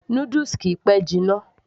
noodles kìí pẹ́ jiná